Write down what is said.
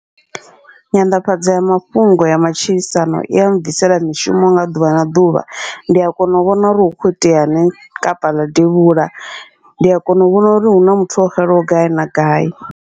Nyanḓafhadzo ya mafhungo ya matshilisano, ia mbvisela mishumo wa ḓuvha na ḓuvha ndia kona u vhona uri hu kho iteani kapa na devhula, ndi a kona u vhona uri huna muthu o xelaho gai na gai.